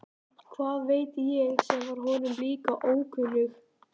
Hvað veit ég sem var honum líka ókunnug.